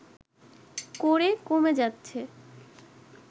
করে কমে যাচ্ছে